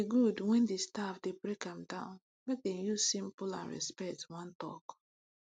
e good when di staff dey break am down make dem use simple and respect wan talk